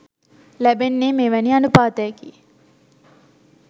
ලැබෙන්නේ මෙවැනි අනූපාතයකි.